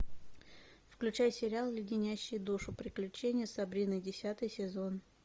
включай сериал леденящие душу приключения сабрины десятый сезон